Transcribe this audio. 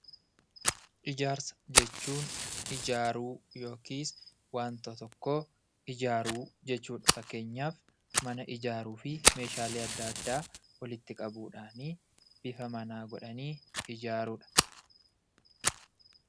Ijaarsa jechuun waanta tokko ijaaru jechuudha. Fakkeenyaaf mana ijaaruuf meeshaalee adda addaa walitti qabuudhaan boca manaa godhanii ijaaruudha.